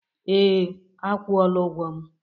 Ee, a kwụọla ụgwọ m.